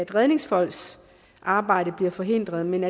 redningsfolks arbejde bliver forhindret men